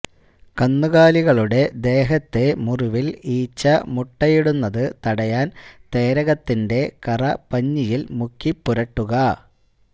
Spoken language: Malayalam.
കന്നുകാലികളുടെ ദേഹത്തെ മുറിവില് ഈച്ച മുട്ടയിടുന്നത് തടയാന് തേരകത്തിന്റെ കറ പഞ്ഞിയില് മുക്കിപ്പുരട്ടുക